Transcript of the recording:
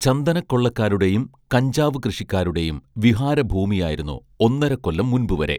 ചന്ദനക്കൊള്ളക്കാരുടെയും കഞ്ചാവു കൃഷിക്കാരുടെയും വിഹാര ഭൂമിയായിരുന്നു ഒന്നരക്കൊല്ലം മുൻപുവരെ